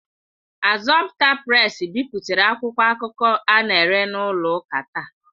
Assumpta Presi bipụtara akwụkwọ akụkọ a na-ere n'ụlọ ụka taa.